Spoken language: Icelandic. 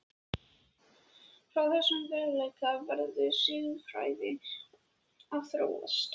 Frá þessum veruleika verði siðfræðin að þróast.